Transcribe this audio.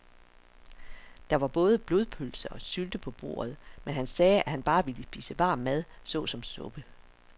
Der var både blodpølse og sylte på bordet, men han sagde, at han bare ville spise varm mad såsom suppe.